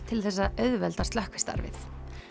til þess að auðvelda slökkvistarfið